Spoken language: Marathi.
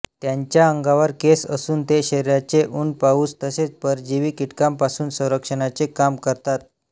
त्यांच्या अंगावर केस असून ते शरीराचे ऊन पाऊस तसेच परजीवी कीटकांपासून संरक्षणाचे काम करतात